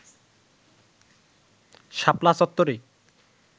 শাপলা চত্বরে